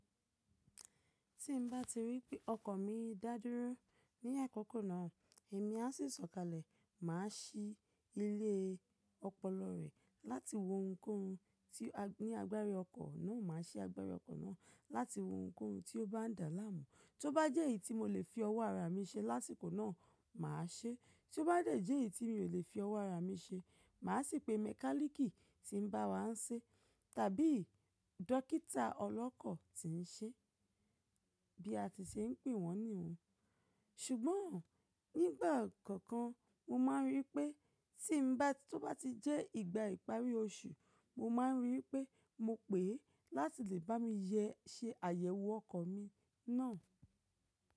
Tí n bá ti rí pé ọkọ̀ mi dá dúró ní àkókò náà, èmi á sì sọ̀kalẹ̀, màá ṣí ilé ọpọlọ rẹ̀ láti wo ohunkóhun tí ní agbára ọkọ̀ náà, màá ṣe agbára ọkọ̀ náà láti wo ohunkóhun tí ó bá ń dà láàmú. Tó bá jẹ́ èyí tí mo lè fi ọwọ́ ara mi ṣe lásìkò náà, màá ṣe. Tó bá jẹ́ èyí tí mi ò lè fi ọwọ́ ara mi ṣe, màá sì pe mẹkálíkì tí ń bá wa ṣe tàbí dókítà ọlọ́kọ̀ tí ń ṣe, bí a ti ṣe ń pè wọ́n nìhun. Ṣùgbọ́n nígbà kọ̀ọ̀kan mo máa ń rí pé tí ń bá, tí ó bá ti jẹ́ ìgbà ìparí oṣù, mo máa ń rí pé mo pè é láti lè bá mi yẹ ṣe àyẹ̀wò ọkọ̀ mi náà.